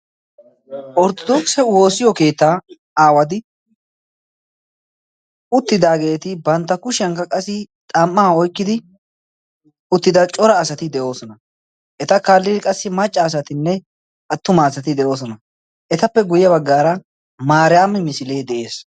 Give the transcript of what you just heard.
Ortodokisse woossiyo keetta aawati uttidaageeti bantta kushiyaankka qassi xam''a oykkidi uttidaa cora asati de'oosona. eta kaallidi qassi maccasatinne attumasati de'oosona. etappe guyye baggar qassi maariyaami misile de'ees.